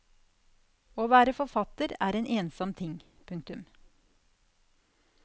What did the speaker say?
Å være forfatter er en ensom ting. punktum